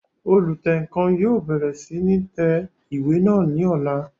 Olùtẹǹkan yóò bẹ̀rẹ̀ sí ní tẹ ìwé náà ní ọ̀la